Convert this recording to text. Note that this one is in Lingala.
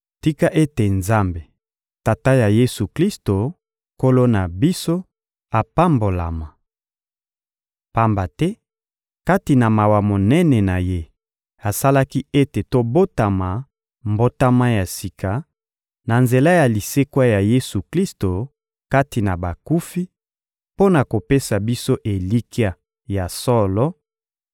Tika ete Nzambe, Tata ya Yesu-Klisto, Nkolo na biso, apambolama! Pamba te, kati na mawa monene na Ye, asalaki ete tobotama mbotama ya sika, na nzela ya lisekwa ya Yesu-Klisto kati na bakufi, mpo na kopesa biso elikya ya solo